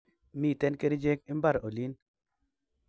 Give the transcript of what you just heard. Mi kechirek imbar olin